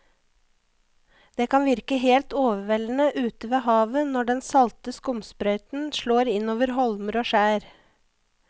Det kan virke helt overveldende ute ved havet når den salte skumsprøyten slår innover holmer og skjær.